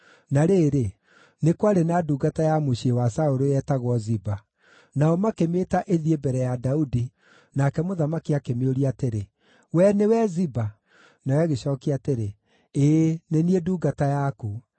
Na rĩrĩ, nĩ kwarĩ na ndungata ya mũciĩ wa Saũlũ yetagwo Ziba. Nao makĩmĩĩta ĩthiĩ mbere ya Daudi, nake mũthamaki akĩmĩũria atĩrĩ, “Wee nĩwe Ziba?” Nayo ĩgĩcookia atĩrĩ, “Ĩĩ nĩ niĩ ndungata yaku.”